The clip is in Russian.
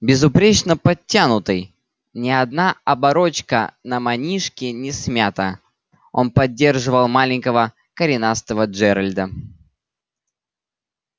безупречно подтянутый ни одна оборочка на манишке не смята он поддерживал маленького коренастого джералда